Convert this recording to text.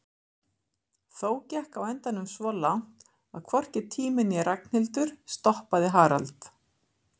Þó gekk á endanum svo langt að hvorki tími né Ragnhildur stoppaði Harald.